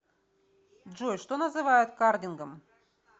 джой что называют кардингом